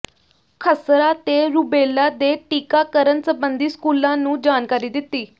ਖ਼ਸਰਾ ਤੇ ਰੁਬੇਲਾ ਦੇ ਟੀਕਾਕਰਨ ਸਬੰਧੀ ਸਕੂਲਾਂ ਨੂੰ ਜਾਣਕਾਰੀ ਦਿੱਤੀ